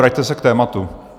Vraťte se k tématu.